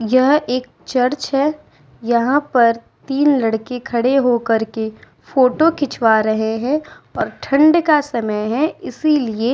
यह एक चर्च है। यहाँ पर तीन लड़के खड़े हो करके फोटो खिंचवा रहे हैं और ठंड का समय है इसीलिये --